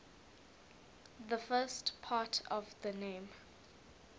the first part of the name